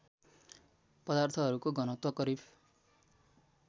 पदार्थहरूको घनत्व करिब